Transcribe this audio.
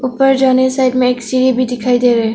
ऊपर जाने साइड में एक सीढ़ी भी दिखाई दे रहा है।